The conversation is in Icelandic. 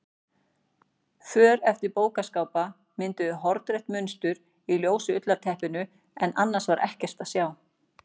För eftir bókaskápa mynduðu hornrétt mynstur í ljósu ullarteppinu en annars var ekkert að sjá.